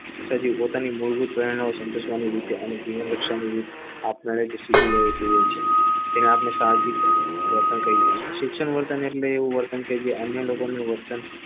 સજીવ માતાની મૂળભૂત સંતોષવાની રીતે આપમેળે શીખી લેશે તેને આપણે તેના પર સામાજીક વર્તન કરીએ છીએ શિક્ષણ વર્તન એટલે એવું વર્તન કે જે અન્ય લોકોને વર્તન